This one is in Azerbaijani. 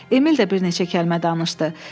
Emil də bir neçə kəlmə danışdı.